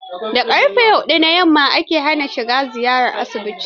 Da ƙarfe hudu na yamma ake hana shiga ziyara asibitin.